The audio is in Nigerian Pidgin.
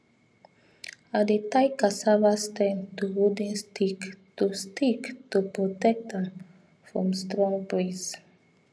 i dey tie cassava stem to wooden stick to stick to protect am from strong breeze